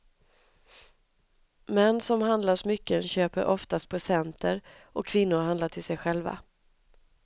Män som handlar smycken köper oftast presenter och kvinnor handlar till sig själva.